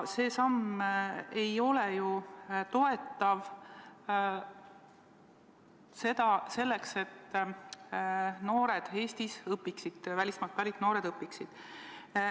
See samm ei toeta ju seda, et välismaalt pärit noored Eestis õpiksid.